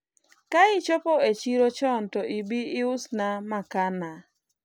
ka ichopo e chiro chon to ibi iusna makaa na